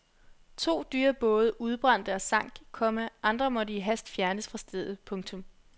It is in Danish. To dyre både udbrændte og sank, komma andre måtte i hast fjernes fra stedet. punktum